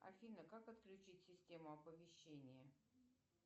афина как отключить систему оповещения